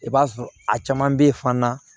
I b'a sɔrɔ a caman bɛ ye fana